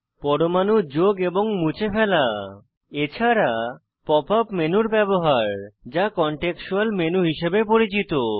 পরমাণু যোগ এবং মুছে ফেলা এছাড়া pop ইউপি মেনুর ব্যবহার যা কনটেক্সচুয়াল মেনু হিসাবে পরিচিত